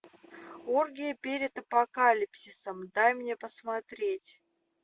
оргии перед апокалипсисом дай мне посмотреть